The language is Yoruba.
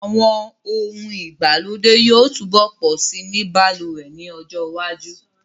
Àwọn ohun ìgbàlódé yóò túbọ̀ pọ̀ si ní balùwẹ̀ ní ọjọ́ iwájú